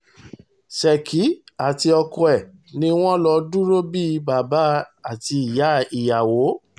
ṣèkì àti ọkọ ẹ̀ ni wọ́n lọ́ọ́ dúró bíi bàbá àti ìyá ìyàwó